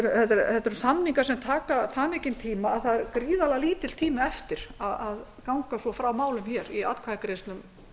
þetta eru samningar sem taka það mikinn tíma að það er gríðarlega lítill tími eftir að ganga svo frá málum í atkvæðagreiðslum